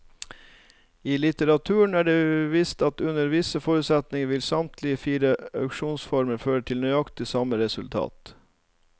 I litteraturen er det vist at under visse forutsetninger vil samtlige fire auksjonsformer føre til nøyaktig samme resultat.